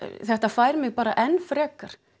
þetta fær mig bara enn frekar